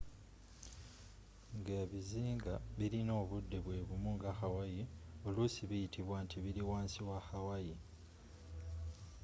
nga ebizinga bilina obudde bwebumu nga hawaii olusi biyitibwa nti bili wansi was hawaii